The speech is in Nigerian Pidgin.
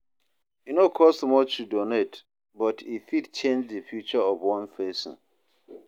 E no cost much to donate, but e fit change the future of one person.